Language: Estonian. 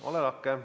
Ole lahke!